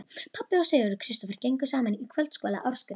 Pabbi og Sigurður Kristófer gengu saman í kvöldskóla Ásgríms